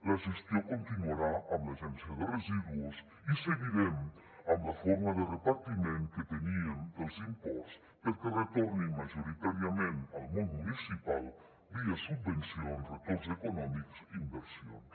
la gestió continuarà amb l’agència de residus i seguirem amb la forma de repartiment que teníem dels imports perquè retornin majoritàriament al món municipal via subvencions retorns econòmics i inversions